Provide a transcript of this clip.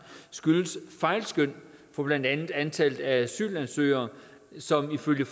skyldes fejlskøn på blandt andet antallet af asylansøgere som ifølge